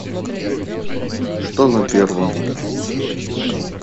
что на первом